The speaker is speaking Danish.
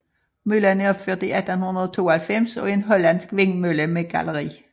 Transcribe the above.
Møllen er opført i 1892 og er en hollandsk vindmølle med galleri